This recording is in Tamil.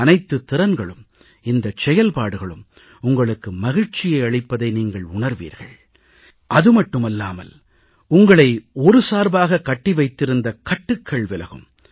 இந்த அனைத்துத் திறன்களும் இந்தச் செயல்பாடுகளும் உங்களுக்கு மகிழ்ச்சியை அளிப்பதை நீங்கள் உணர்வீர்கள் அது மட்டுமில்லாமல் உங்களை ஒரு சார்பாகக் கட்டி வைத்திருந்த கட்டுக்கள் விலகும்